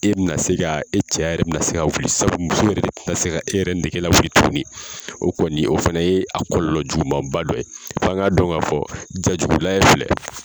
E bɛ na se ka e cɛya yɛrɛ bɛ na se ka wuli sabu muso yɛrɛ tɛ na se ka e yɛrɛ nege lawuli tuguni o kɔni o fana ye a kɔlɔlɔ juguman ba dɔ ye f'an ka dɔn ka fɔ jaa jugu lajɛ filɛ